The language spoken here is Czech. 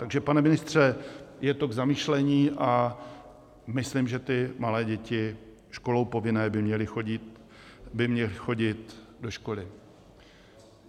Takže pane ministře, je to k zamyšlení a myslím, že ty malé děti školou povinné by měly chodit do školy.